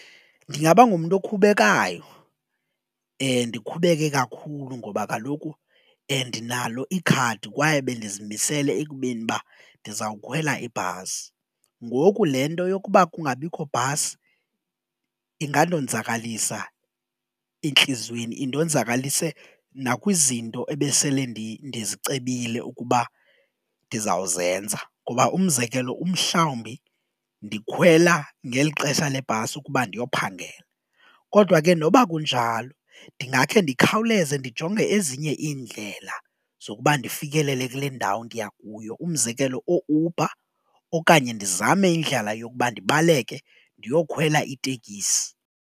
Ndingaba ngumntu okhubekayo ndikhubeke kakhulu ngoba kaloku ndinalo ikhadi kwaye bendizimisele ekubeni ba ndizawukhwela ibhasi ngoku le nto yokuba kungabikho bhasi ingandonzakalisa entliziyweni, indonzakalise nakwizinto ebesele ndizicebile ukuba ndizawuzenza ngoba umzekelo umhlawumbi ndikhwela ngeli xesha lebhasi ukuba ndiyophangela. Kodwa ke noba kunjalo ndingakhe ndikhawuleze ndijonge ezinye iindlela zokuba ndifikelele kule ndawo ndiya kuyo umzekelo ooUber okanye ndizame indlela yokuba ndibaleke ndiyokhwela itekisi.